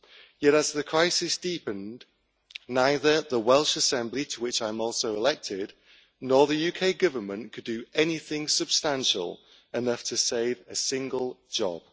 Yet as the crisis deepened, neither the Welsh Assembly, to which I am also elected, nor the UK Government could do anything substantial enough to save a single job.